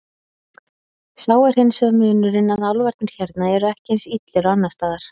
Sá er hins vegar munurinn að álfarnir hérna eru ekki eins illir og annars staðar.